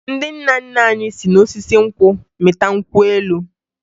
Ndị nna nna anyị si n'osisi nkwụ mịta nkwụ elu